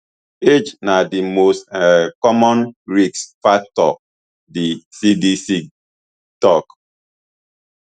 age na di most um common risk factor di cdc tok